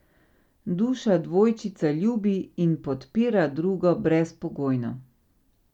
Duša dvojčica ljubi in podpira drugo brezpogojno.